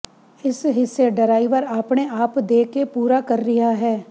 ਇਸ ਹਿੱਸੇ ਡਰਾਈਵਰ ਆਪਣੇ ਆਪ ਦੇ ਕੇ ਪੂਰਾ ਕਰ ਰਿਹਾ ਹੈ